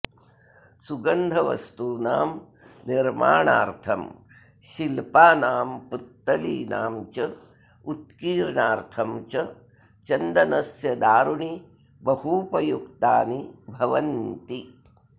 सुगन्धवस्तूनां निर्माणार्थं शिल्पानां पुत्तलीनां च उत्कीर्णार्थं च चन्दनस्य दारूणि बहूपयुक्तानि भवन्ति